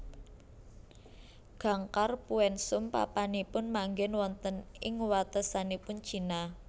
Gangkhar Puensum papanipunmanggen wonten ing watesanipun China